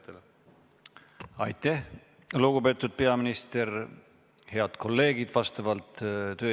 Kui lubate, siis ...